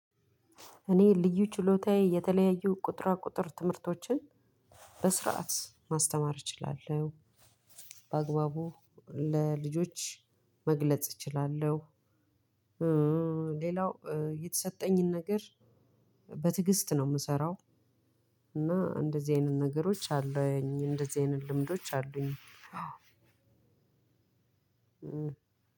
እኔ ልዩ ችሎታዬ የተለያዩ ቁጥራ ቁጥር ትምህርቶችን በስርዓት ማስተማር እችላለሁ በአግባቡ ለልጆች መግለጽ እችላለሁ። ሌላው የተሰጠኝን ነገር በትግስት ነው ምሰራው። እና እንደዚህ አይነት ነገሮች አሉ እንደዚህ አይነት ልምዶች አሉኝ።